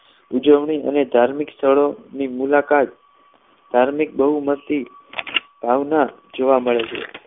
અને ઉજવણી અને ધાર્મિક સ્થળોની મુલાકાત ધાર્મિક બહુમતી ભાવના જોવા મળે છે